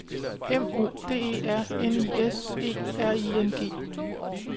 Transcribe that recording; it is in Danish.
M O D E R N I S E R I N G